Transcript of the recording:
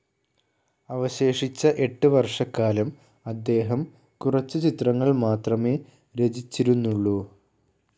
അവശേഷിച്ച എട്ട് വർഷക്കാലം അദ്ദേഹം കുറച്ച് ചിത്രങ്ങൾ മാത്രമേ രചിച്ചിരുന്നുള്ളൂ.